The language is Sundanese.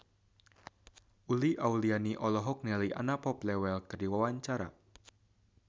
Uli Auliani olohok ningali Anna Popplewell keur diwawancara